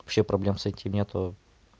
вообще проблем с этим нету